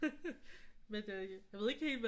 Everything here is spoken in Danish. Men det er rigtigt jeg ved ikke helt hvad